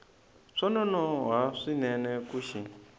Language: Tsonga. swa nonoha swinene ku xi